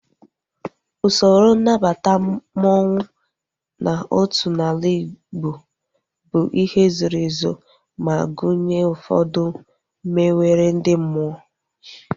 Usoro nnabata mmanwu n'otu n'ala Igbo bụ ihe zoro ezo ma gụnye ụfọdụ mmewere ndị mmụọ